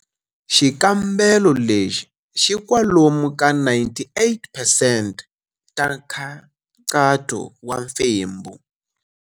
Xikambelo lexi xi kwalomu ka 98 percent ta nkhaqato wa mfembo.